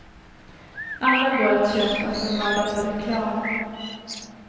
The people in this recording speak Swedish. Alla går att köpa för mördande reklam.